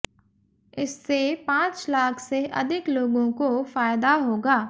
इससे पांच लाख से अधिक लोगों को फायदा होगा